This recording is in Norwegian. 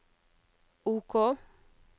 OK